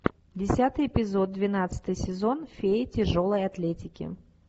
десятый эпизод двенадцатый сезон фея тяжелой атлетики